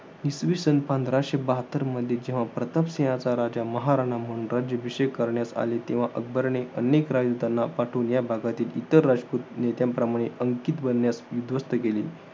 इसविसन पंधराशे बहात्तरमध्ये जेव्हा प्रताप सिंहाचा, राजा महाराणा म्हणून राज्याभिषेक करण्यात आला. तेव्हा अकबराने अनेक राजदूतांना पाठवून या भागातील इतर राजपूत नेत्यांप्रमाणे अंकित बनण्यास उध्वस्त केले.